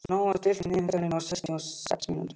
Sonja, stilltu niðurteljara á sextíu og sex mínútur.